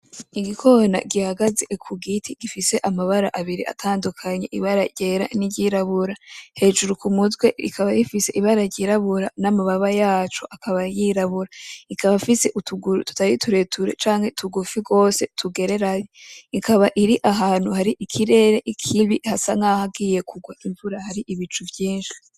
Igikona gihagaze ku giti gifise amabara abiri atandukanye; ibara ryera n'iryirabura. Hejuru ku mutwe ikaba ifise ibara ryirabura n'amababa yaco akaba yirabura. Ikaba ifise utuguru tutari tureture canke tugufi gose, tugereranye. Ikaba iri ahantu hari ikirere kibi hasa nk'ahagiye kugwa imvura hari ibicu vyinshi.